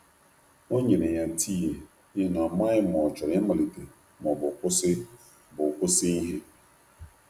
O nyere ya tii, n’ihi na ọ maghị ma ọ chọrọ ịmalite ma ọ bụ kwụsị bụ kwụsị ihe.